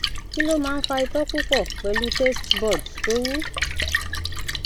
kí ló máa ń fa itó pupọ pelu taste buds tó wu